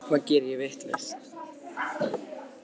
Hvað geri ég vitlaust?